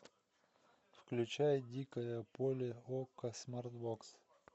включай дикое поле окко смарт бокс